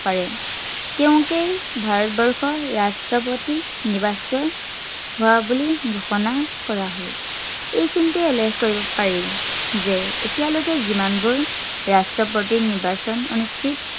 পাৰে, তেওঁকেই ভাৰতবৰ্ষৰ ৰাষ্ট্ৰপতি নিৰ্বাচিত হোৱা বুলি ঘোষণা কৰা হয়। এইখিনিতে উল্লেখ কৰিব পাৰি যে এতিয়ালৈকে যিমানবোৰ ৰাষ্ট্ৰপতিৰ নিৰ্বাচন অনুষ্ঠিত